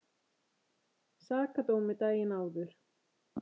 Sakadómi daginn áður.